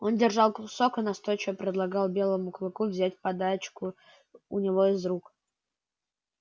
он держал кусок и настойчиво предлагал белому клыку взять подачку у него из рук